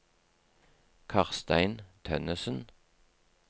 Karstein Tønnesen